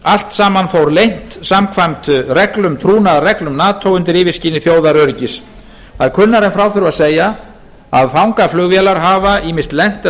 allt saman fór leynt samkvæmt trúnaðarreglum nato undir yfirskini þjóðaröryggis það er kunnara en frá þurfi að segja að fangaflugvélar hafa ýmist lent eða